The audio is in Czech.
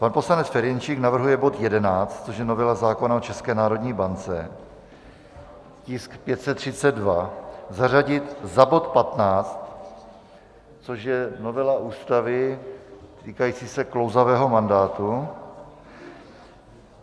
Pan poslanec Ferjenčík navrhuje bod 11, což je novela zákona o České národní bance, tisk 532, zařadit za bod 15, což je novela Ústavy týkající se klouzavého mandátu.